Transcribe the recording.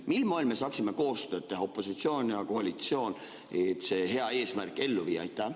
Mil moel me saaksime koostööd teha, opositsioon ja koalitsioon, et see hea eesmärk ellu viia?